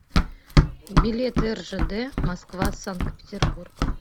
билеты ржд москва санкт петербург